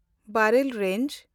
ᱵᱟᱨᱮᱞ range